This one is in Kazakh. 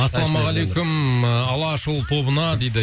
ассалаумағалейкум алашұлы тобына дейді